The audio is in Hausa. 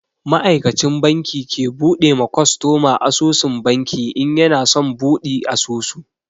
Ma'aikacin banki ke bude ma kwastoma asusun banki in yana son buɗi asusu.